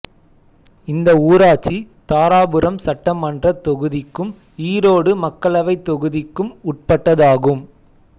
இந்த ஊராட்சி தாராபுரம் சட்டமன்றத் தொகுதிக்கும் ஈரோடு மக்களவைத் தொகுதிக்கும் உட்பட்டதாகும்